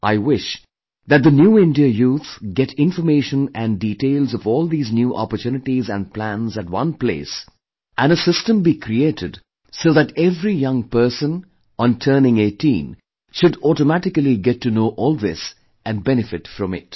I wish that the New India Youth get information and details of all these new opportunities and plans at one place and a system be created so that every young person on turning 18 should automatically get to know all this and benefit from it